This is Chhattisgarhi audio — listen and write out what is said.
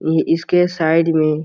ये इस के साइड में --